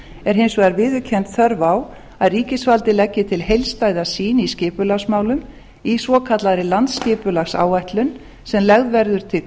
er hins vegar viðurkennd þörf á að ríkisvaldið leggi til heildstæða sýn í skipulagsmálum í svokallaðri landsskipulagsáætlun sem lögð verður til